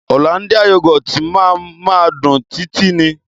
Òlándíà yúgọ́tì ma ma dùn títí ni